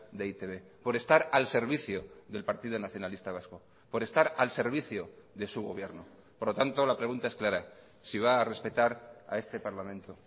de e i te be por estar al servicio del partido nacionalista vasco por estar al servicio de su gobierno por lo tanto la pregunta es clara si va a respetar a este parlamento